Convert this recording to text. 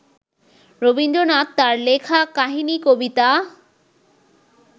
রবীন্দ্রনাথ তার লেখা কাহিনিকবিতা